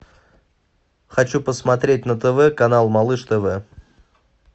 хочу посмотреть на тв канал малыш тв